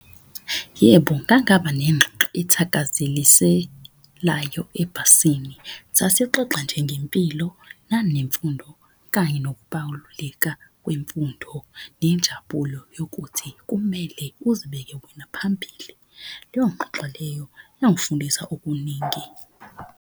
Yebo, ngangaba nengxoxo ethakaziselayo ebhasini. Sasixoxa nje ngempilo nanemfundo kanye kwemfundo, nenjabulo yokuthi kumele uzibeke wena phambili. Leyo ngxoxo leyo yangifundisa okuningi.